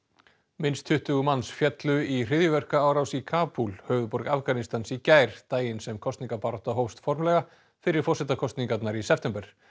minnst tuttugu manns féllu í hryðjuverkaárás í Kabúl höfuðborg Afganistans í gær daginn sem kosningabarátta hófst formlega fyrir forsetakosningar í september